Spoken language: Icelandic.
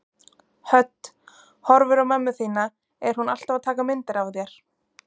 Hödd: Horfir á mömmu þína, er hún alltaf að taka myndir af þér?